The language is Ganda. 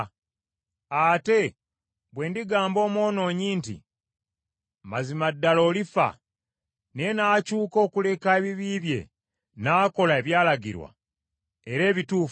Ate bwe ndigamba omwonoonyi nti, ‘Mazima ddala olifa,’ naye n’akyuka okuleka ebibi bye, n’akola ebyalagirwa era ebituufu,